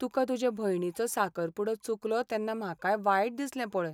तुका तुजे भयणीचो साकरपुडो चुकलो तेन्ना म्हाकाय वायट दिसलें पळय.